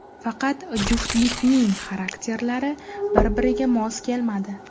Faqat juftlikning xarakterlari bir-biriga mos kelmadi.